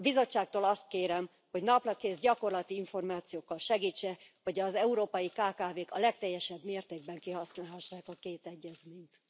A Bizottságtól azt kérem, hogy naprakész, gyakorlati információkkal segítse, hogy az európai kkv k a legteljesebb mértékben kihasználhassák a két egyezményt.